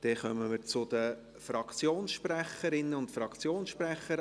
Dann kommen wir zu den Fraktionssprecherinnen und Fraktionssprechern.